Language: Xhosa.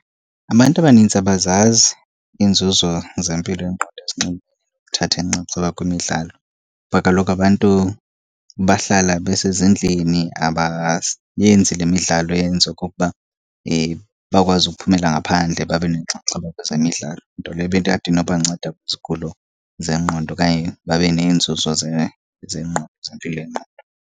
Abantu abanintsi abazazi iinzuzo zempilo yengqondo ezinxulumene nokuthatha inxaxheba kwimidlalo. Kuba kaloku abantu bahlala besezindlini le midlalo yenza okokuba bakwazi ukuphumela ngaphandle babe nenxaxheba kwezemidlalo. Nto leyo inoba nceda kwizigulo zengqondo okanye babe neenzuzo zengqondo, zempilo yengqondo.